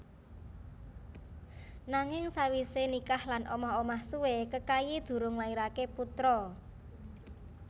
Nanging sawisé nikah lan omah omah suwé Kekayi durung nglairaké putra